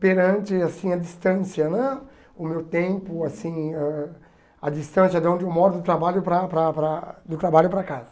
perante assim a distância né, o meu tempo, assim ãh a distância de onde eu moro para para para do trabalho para casa.